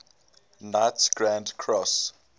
knights grand cross